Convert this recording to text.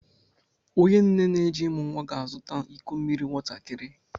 Onye nne n'eje imụ nwa ga-azụta iko mmiri nwatakịrị.